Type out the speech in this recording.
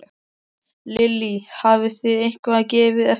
Lillý: Hafið þið eitthvað gefið eftir?